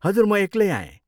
हजुर म एक्लै आएँ।